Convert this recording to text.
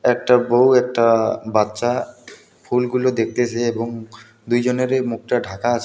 একটা বউ একটা বাচ্চা ফুলগুলো দেখতেছে এবং দুইজনেরই মুখটা ঢাকা আছে.